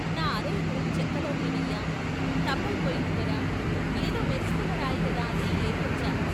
నా అర ఎకరం చెక్కలోదేనయ్యా తప్పయిపోయింది దొరా, ఏదో మెరుస్తున్న రాయిగదా అని ఏరుకొచ్చా.